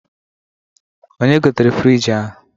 Onye gotere frịjị ahụ?